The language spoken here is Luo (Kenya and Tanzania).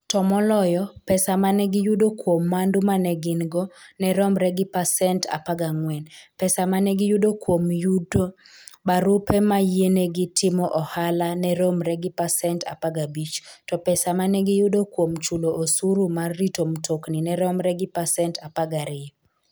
To moloyo, pesa ma ne giyudo kuom mwandu ma ne gin-go ne romre gi pasent 14, pesa ma ne giyudo kuom yudo barupe ma yienegi timo ohala ne romre gi pasent 15, to pesa ma ne giyudo kuom chulo osuru mar rito mtokni ne romre gi pasent 12.